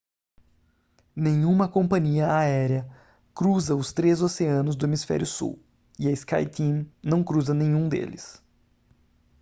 nenhuma companhia aérea cruza os três oceanos do hemisfério sul e a skyteam não cruza nenhum deles